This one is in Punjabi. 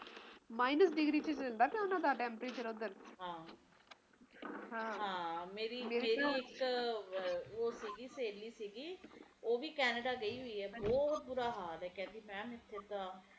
minus ਡਿਗਰੀ ਚ ਹੁੰਦਾ temperature ਓਹਨਾ ਦਾ ਤਾ ਮੇਰੀ ਇੱਕ ਓਹੋ ਸੀਗੀ ਸੇਹਲੀ ਸੀਗੀ ਬਹੁਤ ਉਹ ਵੀ ਕੈਨੇਡਾ ਗਈ ਹੋਈ ਹੈ ਤੇ ਕਹਿੰਦੀ ਮੈਮ ਬਹੁਤ ਬੁਰਾ ਹਾਲ ਇਥੇ ਤਾ